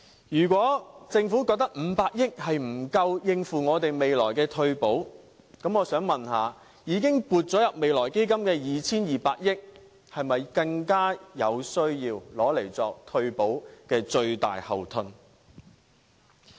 如果政府覺得500億元不足以應付未來的退保，我想問，已經撥入未來基金的 2,200 億元是否更有需要用作退保的最大後盾？